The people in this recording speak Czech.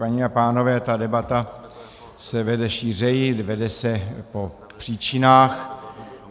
Paní a pánové, ta debata se vede šířeji, vede se po příčinách.